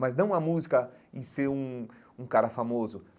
Mas não a música em ser um um cara famoso.